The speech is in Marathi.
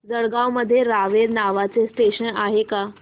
जळगाव मध्ये रावेर नावाचं स्टेशन आहे का